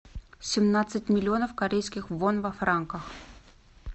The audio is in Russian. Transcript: семнадцать миллионов корейских вон во франках